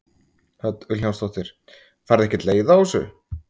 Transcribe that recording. Hödd Vilhjálmsdóttir: Færðu ekkert leið á þessu?